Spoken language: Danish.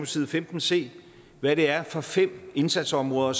side femten se hvad det er for fem indsatsområder